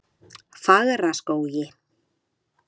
Fagraskógi